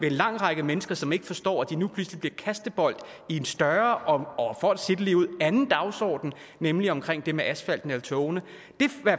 en lang række mennesker som ikke forstår at de nu pludselig bliver kastebold i en større og for at sige det ligeud anden dagsorden nemlig omkring det med asfalten eller togene